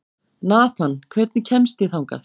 Nathan, hvernig kemst ég þangað?